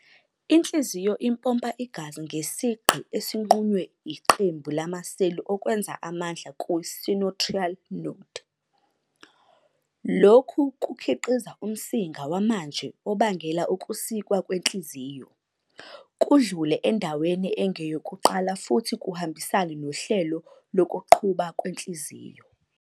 Inhliziyo impompa igazi ngesigqi esinqunywa yiqembu lamaseli okwenza amandla ku-sinoatrial node. Lokhu kukhiqiza umsinga wamanje obangela ukusikwa kwenhliziyo, kudlule endaweni engeyokuqala futhi kuhambisane nohlelo lokuqhuba kwenhliziyo.